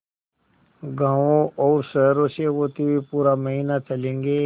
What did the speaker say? गाँवों और शहरों से होते हुए पूरा महीना चलेंगे